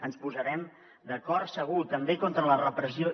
ens posarem d’acord segur també contra la repressió